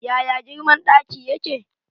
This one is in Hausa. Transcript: Yaya girman ɗaki yake?